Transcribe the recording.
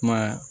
Kuma